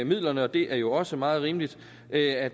midlerne og det er jo også meget rimeligt at